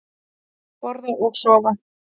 Borða og sofa.